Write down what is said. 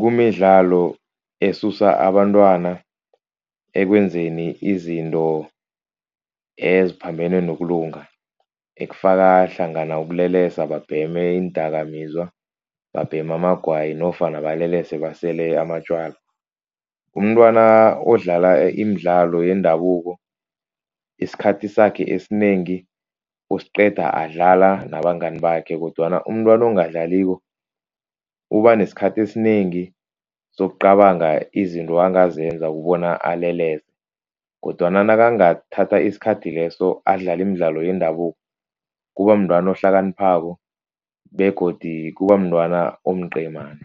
kumidlalo esusa abantwana ekwenzeni izinto eziphambene nokulunga. Ekufaka hlangana ukulelesa, babheme iindakamizwa, babhema amagwayi nofana balelese basele amatjwala. Umntwana odlala imidlalo yendabuko, isikhathi sakhe esinengi usiqeda adlala nabangani bakhe. Kodwana umntwana ongadlaliko, uba nesikhathi esinengi sokucabanga izinto angazenza ubona alelesa kodwana nakangathatha isikhathi leso adlala imidlalo yendabuko. Kuba mntwana ohlakaniphako begodu kuba mntwana omqemane.